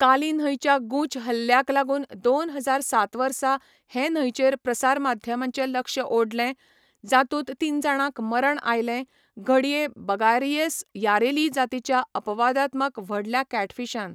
काली न्हंयच्या गुंच हल्ल्याक लागून दोन हजार सात वर्सा हे न्हंयचेर प्रसार माध्यमांचें लक्ष ओडलें, जातूंत तीन जाणांक मरण आयलें, घडये बगारियस यारेली जातीच्या अपवादात्मक व्हडल्या कॅटफिशान.